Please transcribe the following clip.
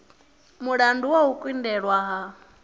mulandu wa u kundelwa ha